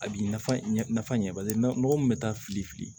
A bi nafa ɲɛ nafa ɲɛ bali na mɔgɔ min bɛ taa fili fili